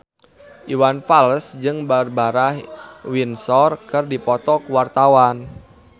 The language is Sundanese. Iwan Fals jeung Barbara Windsor keur dipoto ku wartawan